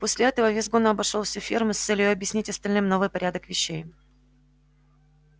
после этого визгун обошёл всю ферму с целью объяснить остальным новый порядок вещей